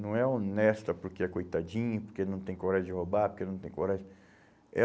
Não é honesta porque é coitadinho, porque não tem coragem de roubar, porque não tem coragem. Eh